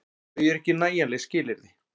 En þau eru ekki nægjanleg skilyrði.